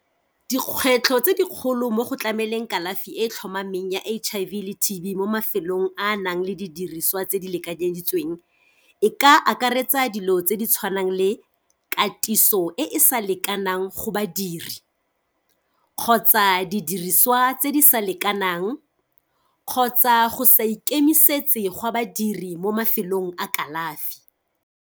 Dikgwetlho tse di kgolo mo go tlameleng kalafi e tlhomameng ya H_I_V le T_B mo mafelong a nang le didiriswa tse di lekanyeditsweng, e ka akaretsa dilo tse di tshwanang le, katiso e e sa lekanang go badiri, kgotsa didiriswa tse di sa lekanang, kgotsa go sa ikemisetse gwa badiri mo mafelong a kalafi.